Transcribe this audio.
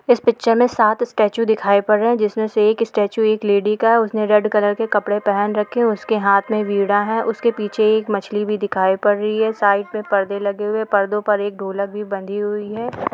इस पिक्चर में साथ स्टैचू दिखाई पड़ रहा है जिसमें से एक स्टैचू एक लेडी का उसने रेड कलर के कपड़े पहन रखे उसके हाथ में बिगड़ा है उसके पीछे एक मछली भी दिखाई पड़ रही है साइड में पढ़ने लगी तो पर्दों पर एक ढोलक भी बंधी हुई है।